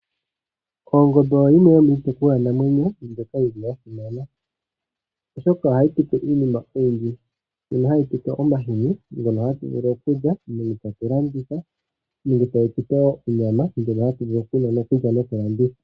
Ongombe oyo yimwe yomiitekulwanamwenyo mbyoka yi li yasimana. Oshoka ohayi tupe iinima oyindji. Ndjono hayi tupe omahini ngono hatu vulu okulya nenge tatu landitha nenge tayi tu pe onyama, ndjono hatu vulu oku lya noku landitha.